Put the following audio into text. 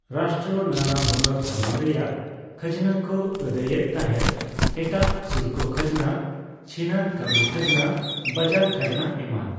ᱨᱟᱥᱴᱨᱚ ᱱᱟᱱᱟ ᱦᱩᱱᱟᱹᱨ ᱫᱷᱚᱨᱚᱱ ᱨᱮᱭᱟᱜ ᱠᱷᱟᱡᱱᱟ ᱠᱚ ᱟᱹᱫᱟᱹᱭ ᱮᱫ ᱛᱟᱦᱮᱸᱫᱼᱮᱴᱟᱜᱥᱩᱞᱠᱚ ᱠᱷᱟᱡᱱᱟ, ᱪᱷᱤᱱᱟᱹᱨ ᱠᱟᱹᱢᱤ ᱠᱷᱟᱡᱱᱟ, ᱵᱟᱡᱟᱨ ᱠᱷᱟᱡᱱᱟ ᱮᱢᱟᱱ ᱾